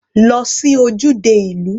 Lọ sí ojúde ìlú.